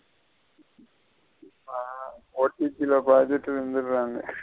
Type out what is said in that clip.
ஆஹ் OTP ல .